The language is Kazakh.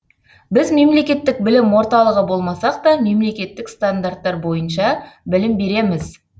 біз мемлекеттік білім орталығы болмасақ та мемлекеттік стандарт бойынша білім береміз